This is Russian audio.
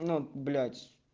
ну блять